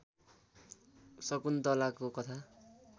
शकुन्तलाको कथा